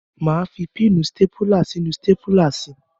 Máa fi píìnì stápùlà sínú stápùlà si.